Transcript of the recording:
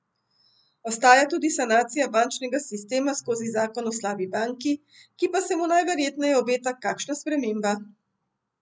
Ostaja tudi sanacija bančnega sistema skozi zakon o slabi banki, ki pa se mu najverjetneje obeta kakšna sprememba.